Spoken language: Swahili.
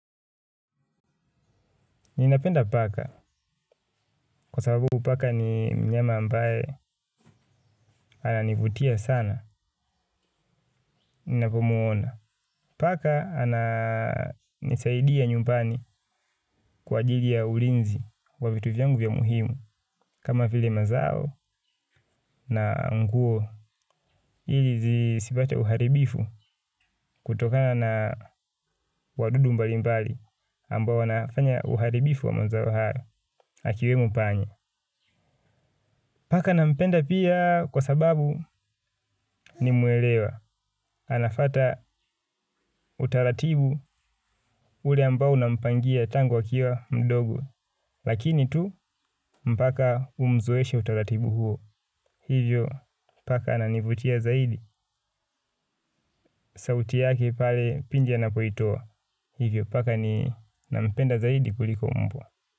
Ninapenda paka kwa sababu paka ni mnyama ambaye ananivutia sana, ninapomuona. Paka ananisaidia nyumbani kwa ajili ya ulinzi wa vitu vyangu vya muhimu kama vile mazao na nguo. Ili zisipate uharibifu kutokana na wadudu mbali mbali ambao wanafanya uharibifu wa mazao haya, akiwemo panya. Paka na mpenda pia kwa sababu ni mwelewa, anafuata utaratibu ule ambao unampangia tangu akiwa mdogo, lakini tu mpaka umzoeshe utaratibu huo, hivyo paka ananivutia zaidi, sauti yake pale pindi anapoitoa, hivyo paka ninampenda zaidi kuliko mbwa.